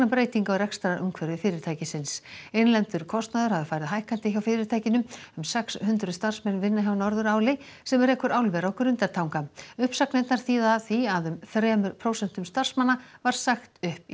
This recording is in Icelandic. breytinga á rekstrarumhverfi fyrirtækisins innlendur kostnaður hafi farið hækkandi hjá fyrirtækinu um sex hundruð starfsmenn vinna hjá Norðuráli sem rekur álver á Grundartanga uppsagnirnar þýða því að um þremur prósentum starfsmanna var sagt upp í